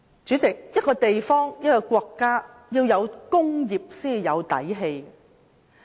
主席，任何地方或國家必須有工業才有"底氣"。